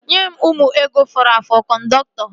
Nye mụ ego m fọrọ afọ kọndọktọ!